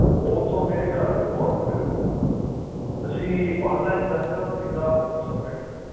ਉਹ ਤਾਂ ਮੇਰੇ ਘਰ ਦੇ ਬਹੁਤ ਦੂਰ ਆ ਤੁਸੀਂ online ਦੱਸਿਓ ਕਿੱਦਾਂ ਹੋਊਗੀ submit